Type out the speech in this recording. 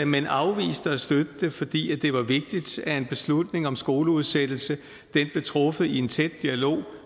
men afviste at støtte det fordi det var vigtigt at en beslutning om skoleudsættelse blev truffet i en tæt dialog